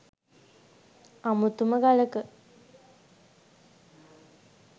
අමුතුම ගලක.